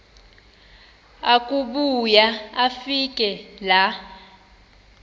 akubuya afike laa